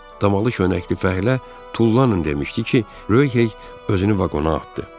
Damalı köynəkli fəhlə "Tullanın!" demişdi ki, Röhey özünü vaqona atdı.